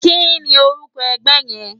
Kìní órùkò ègbè yèn?